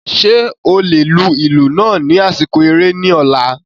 Ṣe o le lu ilu naa ni asiko ere ni ọla?